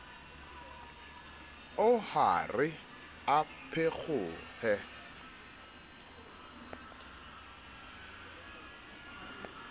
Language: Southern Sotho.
oo ha re a phekgohe